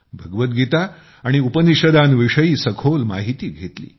भगवद्गीता आणि उपनिषदांविषयी सखोल माहिती घेतली